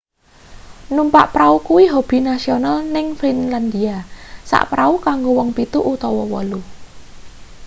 numpak prau kuwi hobi nasional ning finlandia sak prau kanggo wong pitu utawa wolu